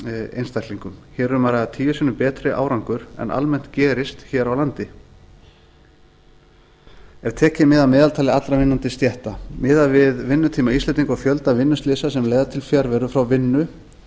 einstaklingum hér er um að ræða tíu sinnum betri árangur en almennt gerist hér á landi ef tekið er mið af meðaltali allra vinnandi stétta miðað við vinnutíma íslendinga og fjölda vinnuslysa sem leiða til fjarveru frá vinnu